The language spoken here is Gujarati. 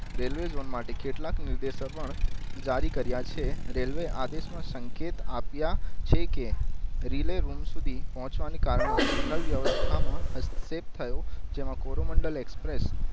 રેલ્વેજોન માટે કેટલાક નિર્દેશક પણ જારી કરીયા છે રેલ્વે આદેશ માં સંકેત આપીય છે કે રિલે રૂમ સુધી પોચવા ની કારણે સિગ્નલ વ્યવસ્થા માં હસ્તથેપ થયો જેમાં કોરોમંડળ એક્સપ્રેસ